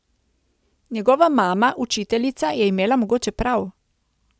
Njegova mama, učiteljica, je imela mogoče prav.